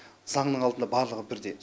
заңның алдында барлығы бірдей